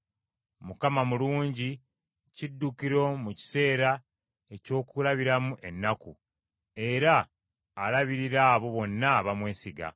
Mukama mulungi, kiddukiro mu kiseera eky’okulabiramu ennaku, era alabirira abo bonna abamwesiga.